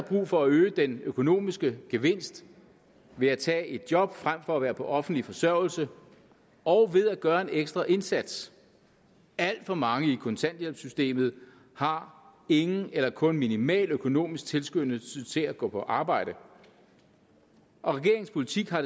brug for at øge den økonomiske gevinst ved at tage et job frem for at være på offentlig forsørgelse og ved at gøre en ekstra indsats alt for mange i kontanthjælpssystemet har ingen eller kun minimal økonomisk tilskyndelse til at gå på arbejde og regeringens politik har